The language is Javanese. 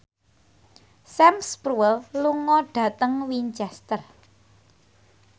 Sam Spruell lunga dhateng Winchester